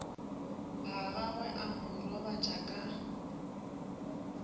gagwe a mo robatša ka